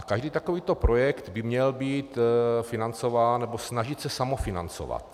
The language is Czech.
A každý takovýto projekt by měl být financován nebo snažit se samofinancovat.